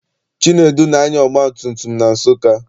Chinedu na-anya ọgbatumtum na Nsụka.